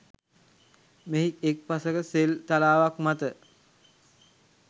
මෙහි එක් පසෙක සෙල් තලාවක් මත